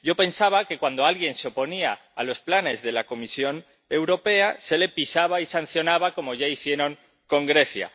Yo pensaba que, cuando alguien se oponía a los planes de la Comisión Europea, se le pisaba y sancionaba, como ya hicieron con Grecia.